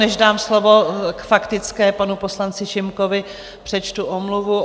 Než dám slovo k faktické panu poslanci Šimkovi, přečtu omluvu.